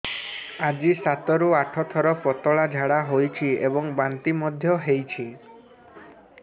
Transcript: ଆଜି ସାତରୁ ଆଠ ଥର ପତଳା ଝାଡ଼ା ହୋଇଛି ଏବଂ ବାନ୍ତି ମଧ୍ୟ ହେଇଛି